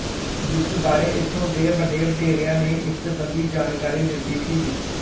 ਜਿਸ ਬਾਰੇ ਉਥੋਂ ਦੇ ਵੱਡੇਵਡੇਰਿਆਂ ਨੇ ਇਸ ਸੰਬੰਧੀ ਜਾਣਕਾਰੀ ਦਿੱਤੀ ਸੀ